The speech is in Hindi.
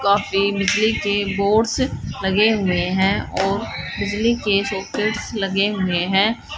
काफी बिजली के बोर्ड्स लगे हुए हैं और बिजली के सॉकेट्स लगे हुए हैं।